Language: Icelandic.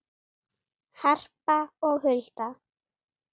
Harpa og Hulda.